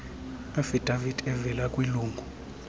affidavit evela kwilungu